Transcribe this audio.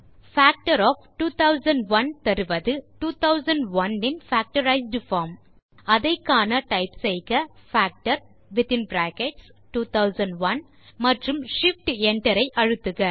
factor தருவது 2001 இன் factorized form அதை காண டைப் செய்க பாக்டர் மற்றும் shift enter ஐ அழுத்துக